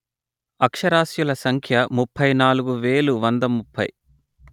అక్షరాస్యుల సంఖ్య ముప్పై నాలుగు వేలు వంద ముప్పై